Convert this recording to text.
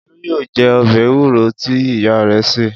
Olú yóò jẹ ọbẹ̀ ewúro tí ìyá rẹ̀ sè.